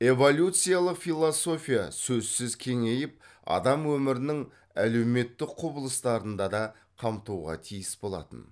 эволюциялық философия сөзсіз кеңейіп адам өмірінің әлеуметтік құбылыстарын да қамтуға тиіс болатын